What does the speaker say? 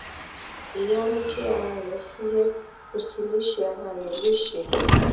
èyí á mú kí ara rẹ̀ fúyẹ́ kò sì ní ṣe ara rẹ̀ léṣe